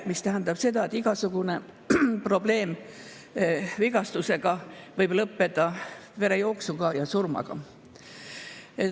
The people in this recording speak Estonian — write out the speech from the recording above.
See tähendab seda, et igasugune vigastus võib lõppeda verejooksu ja surmaga.